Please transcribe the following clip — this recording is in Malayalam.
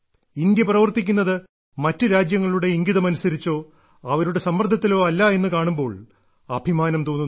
ഇന്ത്യ പ്രവർത്തിക്കുന്നത് മറ്റ് രാജ്യങ്ങളുടെ ഇംഗിതമനുസരിച്ചോ അവരുടെ സമ്മർദ്ദത്തിലോ അല്ല എന്ന് കാണുമ്പോൾ അഭിമാനം തോന്നുന്നു